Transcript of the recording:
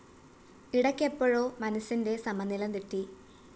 ഇടയ്‌ക്കെപ്പോഴോ മനസിന്റെ സമനില തെറ്റി